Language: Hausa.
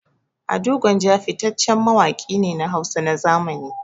Ado Gwanja fitaccen mawaƙi ne na Hausa na zamani.